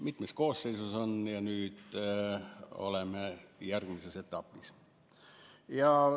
Mitmes koosseisus on seda arutatud ja nüüd oleme järgmises etapis.